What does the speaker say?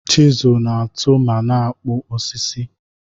Chịzụlụ na-atụụ ma na-akpụ osisi.